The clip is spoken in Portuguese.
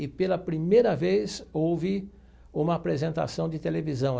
E pela primeira vez houve uma apresentação de televisão.